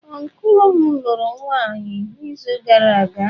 Ọncụl m lụrụ nwaanyị n’izu gara aga.